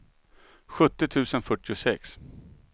sjuttio tusen fyrtiosex